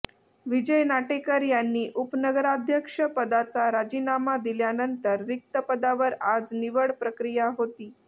विजय नाटेकर यांनी उपनगराध्यक्षपदाचा राजीनामा दिल्यानंतर रिक्त पदावर आज निवड प्रक्रिया होती